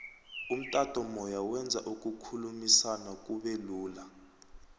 umtato moya wenza ukukhulumisana kube lula